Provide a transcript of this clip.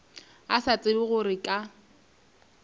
a sa tsebe gore ka